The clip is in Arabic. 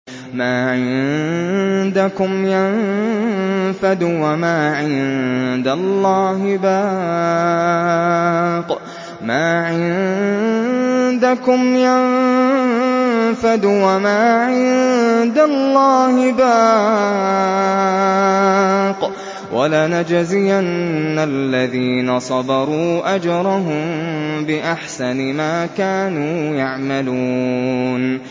مَا عِندَكُمْ يَنفَدُ ۖ وَمَا عِندَ اللَّهِ بَاقٍ ۗ وَلَنَجْزِيَنَّ الَّذِينَ صَبَرُوا أَجْرَهُم بِأَحْسَنِ مَا كَانُوا يَعْمَلُونَ